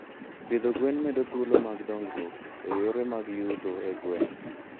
Pidho gwen medo thuolo mag dongruok e yore mag yuto e gwenge.